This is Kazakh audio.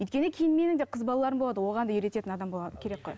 өйткені кейін менің де қыз балаларым болады оған да үйрететін адам керек қой